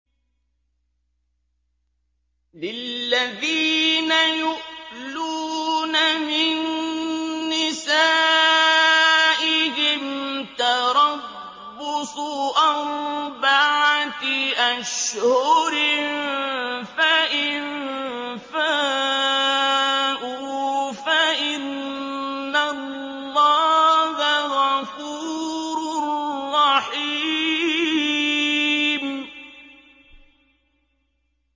لِّلَّذِينَ يُؤْلُونَ مِن نِّسَائِهِمْ تَرَبُّصُ أَرْبَعَةِ أَشْهُرٍ ۖ فَإِن فَاءُوا فَإِنَّ اللَّهَ غَفُورٌ رَّحِيمٌ